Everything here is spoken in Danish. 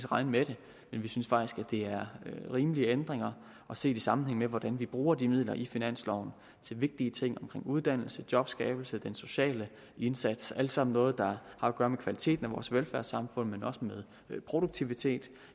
regne med det men vi synes faktisk det er rimelige ændringer og set i sammenhæng med hvordan vi bruger de midler i finansloven til vigtige ting omkring uddannelse jobskabelse den sociale indsats alt sammen noget der har at gøre med kvaliteten af vores velfærdssamfund og produktivitet